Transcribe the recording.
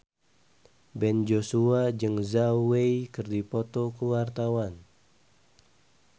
Ben Joshua jeung Zhao Wei keur dipoto ku wartawan